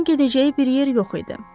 Onun gedəcəyi bir yer yox idi.